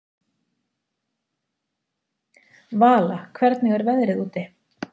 Vala, hvernig er veðrið úti?